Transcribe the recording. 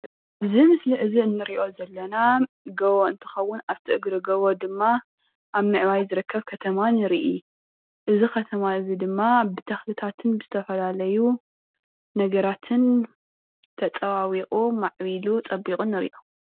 እዚ ምስሊ እዚ ንሪኦ ዘለና ጎቦ እንትከውን አብቲ እግሪ ጎቦ ድማ አብ ምዕባይ ዝርከብ ከተማ ንርኢ። እዚ ከተማ እዚ ድማ ብተክልታትን ብዝተፈላለዩ ነገራትን ተፀባቢቁ ማዕቢሉ ፀቢቁ ንሪኦ።